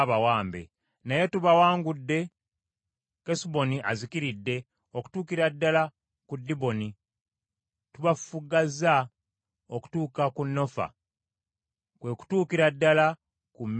“Naye tubawangudde Kesuboni azikiridde okutuukira ddala ku Diboni. Tubafufuggazza okutuuka ku Nofa, kwe kutuukira ddala ku Medeba.”